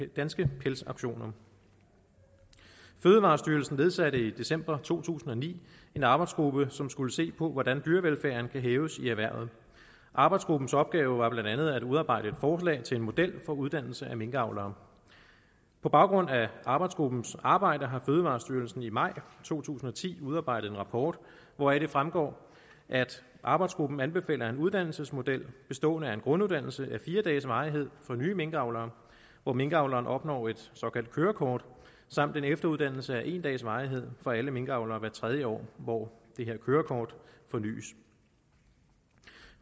danske pelsauktioner fødevarestyrelsen nedsatte i december to tusind og ni en arbejdsgruppe som skulle se på hvordan dyrevelfærden kan hæves i erhvervet arbejdsgruppens opgave var blandt andet at udarbejde et forslag til en model for uddannelse af minkavlere på baggrund af arbejdsgruppens arbejde har fødevarestyrelsen i maj to tusind og ti udarbejdet en rapport hvoraf det fremgår at arbejdsgruppen anbefaler en uddannelsesmodel bestående af en grunduddannelse af fire dages varighed for nye minkavlere hvor minkavleren opnår et såkaldt kørekort og en efteruddannelse af en dags varighed for alle minkavlere hvert tredje år hvor det her kørekort fornys